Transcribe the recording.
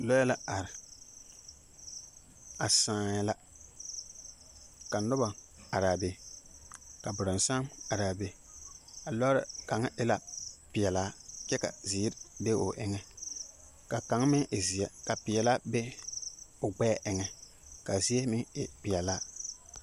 Lͻԑ la are a sãã la. ka noba arԑԑ be, ka borͻnsam arԑԑ be. A lͻͻre kaŋa e la peԑlaa kyԑ ka zeere be o eŋԑ, ka kaŋ meŋ e zeԑ ka peԑlaa be o gbԑԑ eŋԑ ka a zie meŋ e peԑlaa.